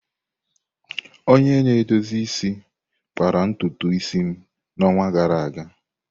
Onye na-edozi isi kpara ntutu isi m n'ọnwa gara aga.